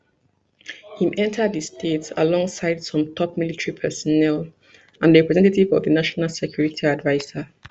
im enta di state alongside some top military personnel and a representative of di national security adviser